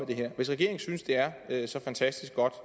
det her hvis regeringen synes det er så fantastisk godt